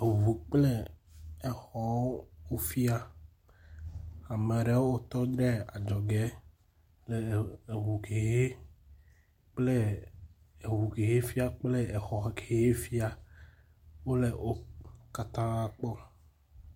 Eŋu kple exɔwo wofia. Ame aɖewo tɔ ɖe adzɔge le eŋu kexe kple eŋu kehe fia kple xɔ kexe fia wole wo katã kpɔm.